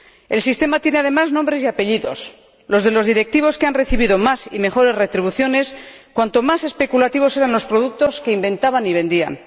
El sistema tiene, además, nombres y apellidos los de los directivos que han recibido más y mejores retribuciones cuanto más especulativos eran los productos que inventaban y vendían.